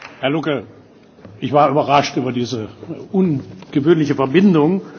Herr Lucke! Ich war überrascht über diese ungewöhnliche Verbindung.